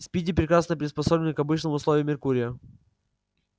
спиди прекрасно приспособлен к обычным условиям меркурия